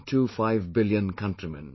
25 billion countrymen